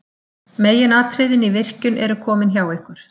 Meginatriðin í virkjun eru komin hjá ykkur.